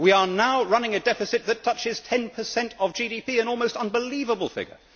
We are now running a deficit that touches 10 of GDP an almost unbelievable figure.